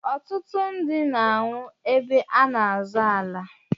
Ọtụtụ ndị na anwụ ébé a n'azọ ala.